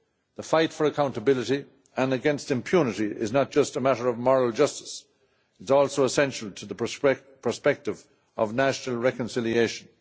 The fight for accountability and against impunity is not just a matter of moral justice but is also essential to the perspective of national reconciliation.